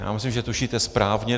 Já myslím, že tušíte správně.